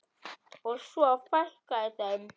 Og svo fækkaði þeim.